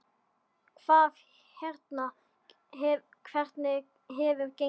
Hvað hérna, hvernig hefur gengið?